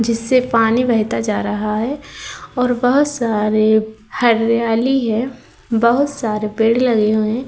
जिससे पानी बहता जा रहा है और बहोत सारे हरियाली है। बहोत सारे पेड़ लगे हुए हैं।